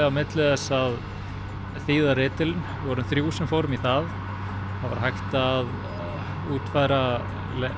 á milli að þýða ritill við vorum þrjú sem fórum í það það var hægt að útfæra